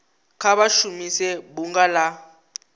kha vha shumise bunga la